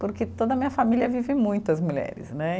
Porque toda a minha família vive muito as mulheres, né?